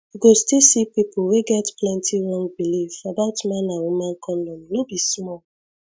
you go still see people wey get plenty wrong belief about man and woman condom no be small